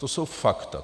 To jsou fakta.